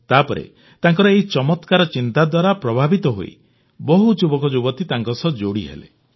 ତାପରେ ତାଙ୍କର ଏହି ଚମତ୍କାର ଚିନ୍ତା ଦ୍ୱାରା ପ୍ରଭାବିତ ହୋଇ ବହୁତ ଯୁବକଯୁବତୀ ତାଙ୍କ ସହ ଯୋଡ଼ିହେଲେ